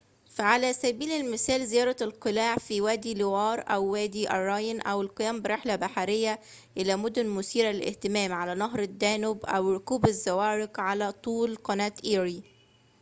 فعلى سبيل المثال زيارة القلاع في وادي لوار أو وادي الراين أو القيام برحلة بحرية إلى مدن مثيرة للاهتمام على نهر الدانوب أو ركوب الزوارق على طول قناة إيري